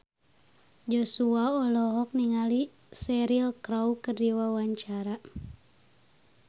Joshua olohok ningali Cheryl Crow keur diwawancara